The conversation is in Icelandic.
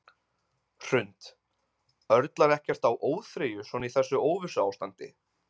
Hrund: Örlar ekkert á óþreyju svona í þessu óvissuástandi?